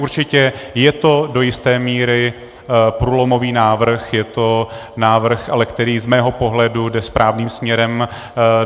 Určitě je to do jisté míry průlomový návrh, je to návrh, který ale z mého pohledu jde správným směrem.